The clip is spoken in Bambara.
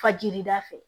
Fajiri da fɛ